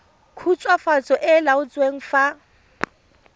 khutswafatso e e laotsweng fa